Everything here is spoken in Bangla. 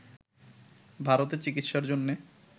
ভারতে চিকিৎসার জন্যে